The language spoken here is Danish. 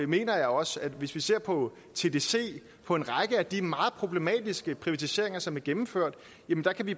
mener jeg også at vi hvis vi ser på tdc og på en række af de meget problematiske privatiseringer som er gennemført